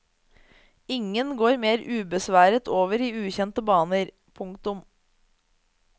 Ingen går mer ubesværet over i ukjente baner. punktum